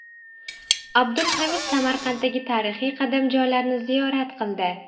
Abdul Hamid Samarqanddagi tarixiy qadamjolarni ziyorat qildi .